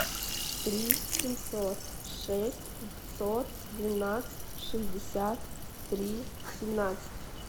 три семьсот шесть пятьсот двенадцать шестьдесят три семнадцать